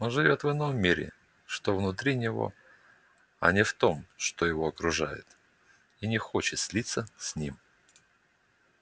он живёт в ином мире что внутри него а не в том что его окружает и не хочет слиться с ним